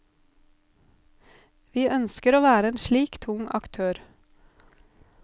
Vi ønsker å være en slik tung aktør.